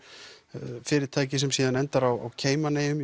fyrirtæki sem síðan endar á Cayman eyjum